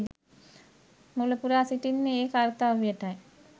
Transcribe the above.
මුලපුරා සිටින්නේ ඒ කර්තව්‍යයටයි.